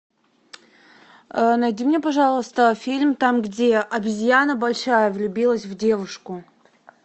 найди мне пожалуйста фильм там где обезьяна большая влюбилась в девушку